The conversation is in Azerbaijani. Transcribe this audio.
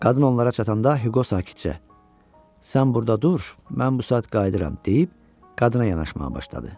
Qadın onlara çatanda Hüqo sakitcə: "Sən burda dur, mən bu saat qayıdıram" deyib, qadına yanaşmağa başladı.